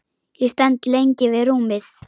Ég stend lengi við rúmið.